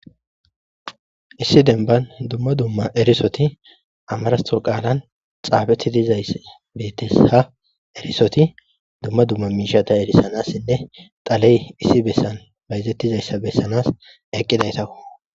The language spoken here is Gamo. Issi dembban dumma dumma erisothi amaaraththo qaalan xaafeththizayssi beeththes;ha erissothi dumma dumma miishshatha erissanaassinne xalee issi bessan bayzeththizayssa bessanas eqqidaytha koo.